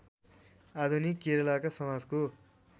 आधुनिक केरलका समाजको